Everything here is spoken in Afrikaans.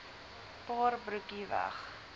paar broekie weg